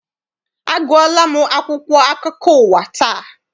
Agụọla m akwụkwọ akụkọ ụwa taa.